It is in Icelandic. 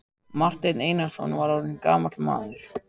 Marteinn Einarsson var orðinn gamall maður.